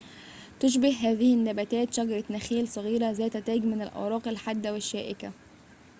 تشبه هذه النباتات شجرة نخيل صغيرة ذات تاج من الأوراق الحادة والشائكة